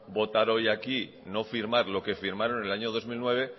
votar hoy aquí no firmar lo que firmaron en el año dos mil nueve